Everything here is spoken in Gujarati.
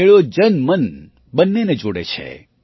મેળો જનમન બંનેને જોડે છે